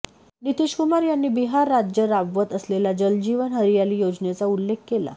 नितीशकुमार यांनी बिहार राज्य राबवत असलेल्या जलजीवन हरियाली योजनेचा उल्लेख केला